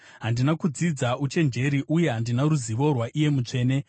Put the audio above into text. Handina kudzidza uchenjeri, uye handina ruzivo rwaiye Mutsvene.